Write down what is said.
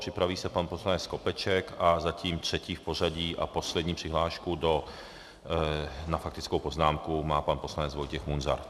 Připraví se pan poslanec Skopeček a zatím třetí v pořadí a poslední přihlášku na faktickou poznámku má pan poslanec Vojtěch Munzar.